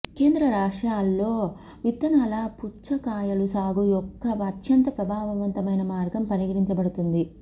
కేంద్ర రష్యాలో విత్తనాల పుచ్చకాయలు సాగు యొక్క అత్యంత ప్రభావవంతమైన మార్గం పరిగణించబడుతుంది